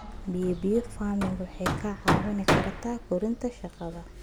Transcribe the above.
Bio bio farming waxay kaa caawin kartaa kordhinta shaqada.